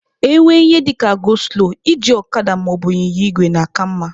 E nwee ihe dịka 'go slow' iji ọkada maọbụ ịnyịnya igwe na-aka mma